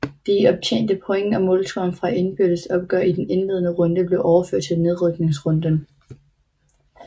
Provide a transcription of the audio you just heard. De optjente point og målscoren fra indbyrdes opgør i den indledende runde blev overført til nedrykningsrunden